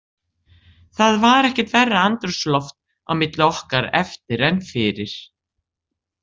Það var ekkert verra andrúmsloft á milli okkar eftir en fyrir.